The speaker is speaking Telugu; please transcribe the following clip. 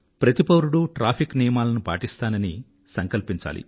ప్రతి పౌరుడూ ట్రాఫిక్ నియమాలను పాటిస్తానని సంకల్పించాలి